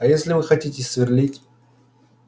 а если вы хотите сверлить